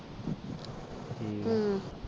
ਹਮ